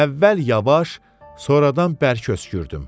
Əvvəl yavaş, sonradan bərk öskürdüm.